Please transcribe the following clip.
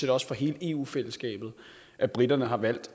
også for hele eu fællesskabet at briterne har valgt